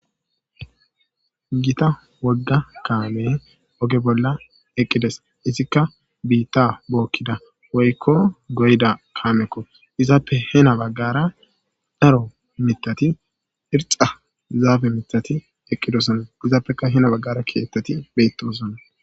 gita wogga kaame oge bolla eqqidees izikka biitta bookiida woykko goyda kamekko izappe hena baggara daro mitati irxa zaafe mitati eqqidosona izappekka hena baggara kettati bettosoona